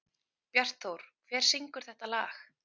Bjartþór, hver syngur þetta lag?